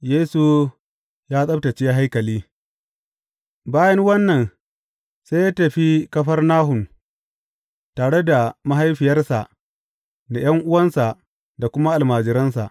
Yesu ya tsabtacce haikali Bayan wannan sai ya tafi Kafarnahum tare da mahaifiyarsa da ’yan’uwansa da kuma almajiransa.